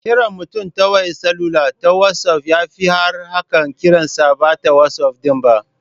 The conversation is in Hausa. Kiran mutum a wayar salula ta wazof yafi arha akan kiransa bata wazof din ba.